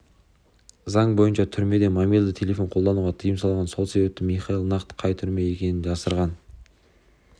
заң бойынша түрмеде мобильді телефон қолдануға тыйым салынған сол себепті михаил нақты қай түрме екенін жасырған